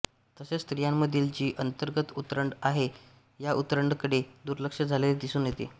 तसेच स्त्रियांमधील जी अंतर्गत उतरंड आहे या उतरंडीकडे दुर्लक्ष झालेले दिसून येते